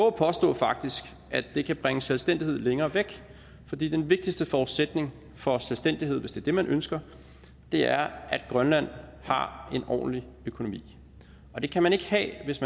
at påstå at det kan bringe selvstændighed længere væk fordi den vigtigste forudsætning for selvstændighed hvis det er det man ønsker er at grønland har en ordentlig økonomi og det kan man ikke have hvis